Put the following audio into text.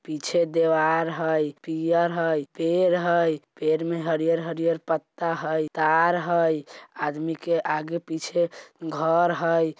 पीछे दीवार है पियर है पैर है पैर में हरिहर - हरिहर पत्ता है तार है आदमी के आगे पीछे घर है।